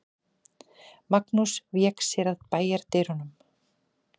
Magnús vék sér að bæjardyrunum.